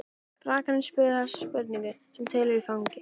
Rakarinn spurði þessara spurninga sem tilheyra faginu